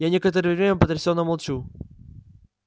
я некоторое время потрясённо молчу